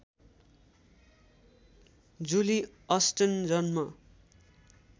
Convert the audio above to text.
जुली Austen जन्म